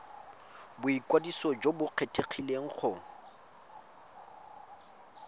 boikwadiso jo bo kgethegileng go